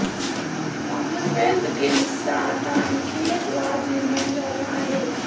Commonwealth गेम्सचा आता आणखी एक वाद निर्माण झाला आहे